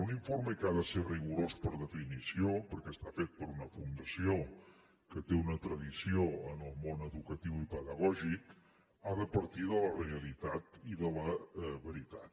un informe que ha de ser rigorós per definició perquè està fet per una fundació que té una tradició en el món educatiu i pedagògic ha de partir de la realitat i de la veritat